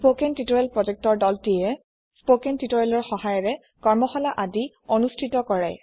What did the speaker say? spoken tutorial project ৰ দলটিয়ে spoken tutorialsৰ সহায়েৰে কৰ্মশালা আদি অনুষ্ঠিত কৰে